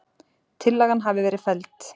Tillagan hafi verið felld.